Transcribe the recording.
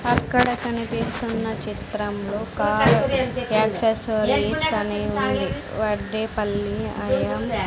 అక్కడ కనిపిస్తున్న చిత్రంలో కారు యాక్సెసరీస్ అని ఉంది వడ్డీ పల్లీ అని--